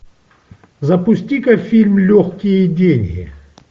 запусти ка фильм легкие деньги